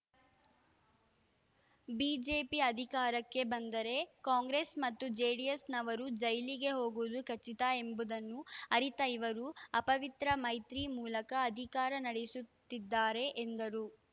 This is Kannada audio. ಬಿಜೆಪಿ ಅಧಿಕಾರಕ್ಕೆ ಬಂದರೆ ಕಾಂಗ್ರೆಸ್‌ ಮತ್ತು ಜೆಡಿಎಸ್‌ನವರು ಜೈಲಿಗೆ ಹೋಗುವುದು ಖಚಿತ ಎಂಬುದನ್ನು ಅರಿತ ಇವರು ಅಪವಿತ್ರ ಮೈತ್ರಿ ಮೂಲಕ ಅಧಿಕಾರ ನಡೆಸುತ್ತಿದ್ದಾರೆ ಎಂದರು